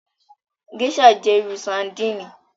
Gèṣà jẹ iru sardini